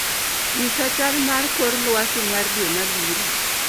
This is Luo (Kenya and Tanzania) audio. Nyisa chal mar kor lwasi mar dwe mabiro